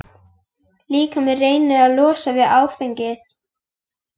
Líkaminn reynir að losna við áfengið.